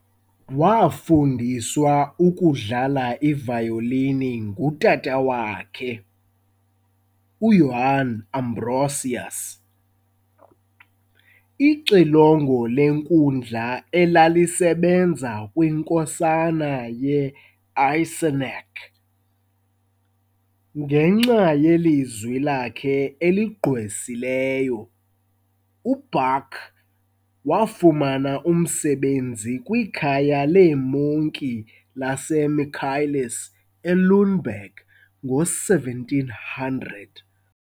Wafundiswa ukudlala ivayolini ngutata wakhe, uJohann Ambrosius, ixilongo lenkundla elalisebenza kwinkosana ye-Eisenach. Ngenxa yelizwi lakhe eligqwesileyo, uBach wafumana umsebenzi kwikhaya leemonki laseMichaelis eLüneberg ngo-1700.